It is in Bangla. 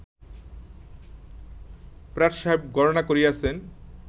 প্রাট সাহেব গণনা করিয়াছেন